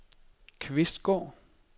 Kvistgård